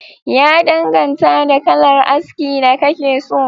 Ya danganta da kalar aski da kake so